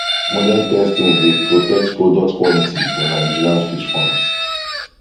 modern testing dey protect product quality for nigerian fish farms